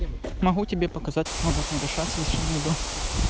могу тебе показать как оно должно решаться если что найду